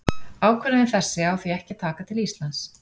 Ákvörðun þessi á því ekki að taka til Íslands.